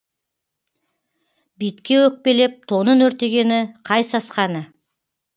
битке өкпелеп тонын өртегені қай сасқаны